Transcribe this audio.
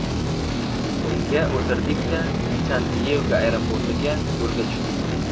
Unga o‘tirdik-da, San-Diyego aeroportiga yo‘lga tushdik.